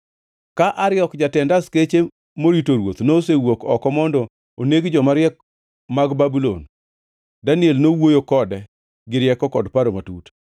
Ka Ariok, jatend askeche morito ruoth nosewuok oko mondo oneg joma riek mag Babulon, Daniel nowuoyo kode gi rieko kod paro matut.